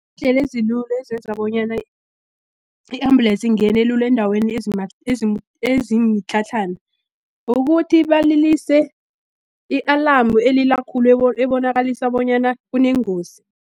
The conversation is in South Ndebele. Ndlela ezilula ezenza bonyana i-ambulesi ingene lula eendaweni ezimitlhatlhana, ukuthi balilise i-alamu elila khulu ebonakalisa bonyana kunengozi.